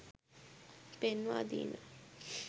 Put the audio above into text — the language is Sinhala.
පෙන්වා දීම